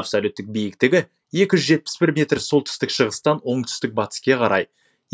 абсолюттік биіктігі екі жүз жетпіс бір метр солтүстік шығыстан оңтүстік батыске қарай